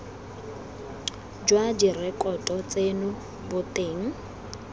jwa direkoto tseno bo teng